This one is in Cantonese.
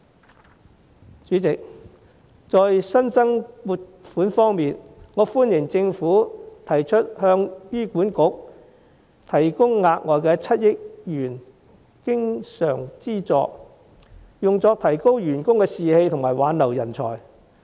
代理主席，在新增撥款方面，我歡迎政府提出向醫院管理局提供額外7億元經常資助，用作提高員工士氣及挽留人才。